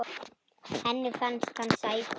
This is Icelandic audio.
Henni fannst hann sætur.